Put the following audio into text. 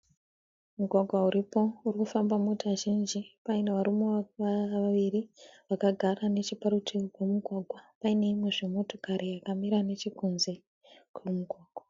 Mugwagwa uripo uri kufamba mota zhinji. Paine varume vaviri vakagara necheparutivi pomugwagwa paine imwezve motokari yakamira nechekunze kwemugwagwa.